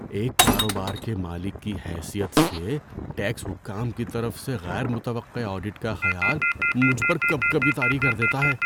ایک کاروبار کے مالک کی حیثیت سے، ٹیکس حکام کی طرف سے غیر متوقع آڈٹ کا خیال مجھ پر کپکپی طاری کر دیتا ہے۔